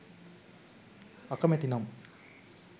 අකමැති නම්